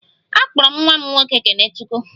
A kpọrọ m nwa m nwoke 'kenechukwu'